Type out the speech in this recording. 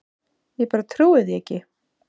Ég bara trúi því ekki.